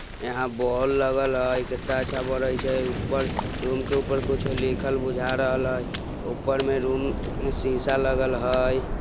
यहां बॉल लगल है कित्ता अच्छा बरेछे| ऊपर रूम के ऊपर कुछ लिखल बुझा रहल है ऊपर रूम में शीशा लगल है।